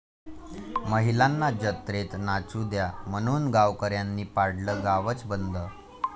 महिलांना जत्रेत नाचू द्या' म्हणून गावकऱ्यांनी पाडलं गावच बंद!